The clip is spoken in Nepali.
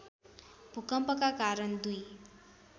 भूकम्पका कारण दुई